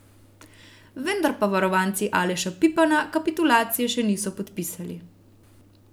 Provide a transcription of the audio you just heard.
Vendar pa varovanci Aleša Pipana kapitulacije še niso podpisali.